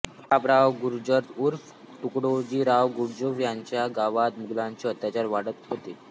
प्रतापराव गुर्जर उर्फ कुडतोजीराव गुर्जर यांच्या गावात मुघलांचे अत्याचार वाढत होते